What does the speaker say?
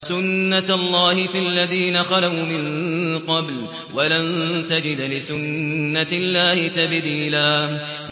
سُنَّةَ اللَّهِ فِي الَّذِينَ خَلَوْا مِن قَبْلُ ۖ وَلَن تَجِدَ لِسُنَّةِ اللَّهِ تَبْدِيلًا